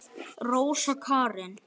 Rósa Karin.